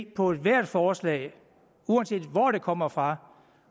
på ethvert forslag uanset hvor det kommer fra